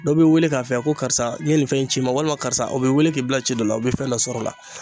Dɔ b'i wele k'a fɔ ko karisa n ye nin fɛn in ci n ma walima karisa o b'i wele k'i bila ci dɔ la o be fɛn dɔ sɔrɔ o la